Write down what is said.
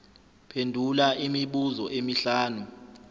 phendula imibuzo emihlanu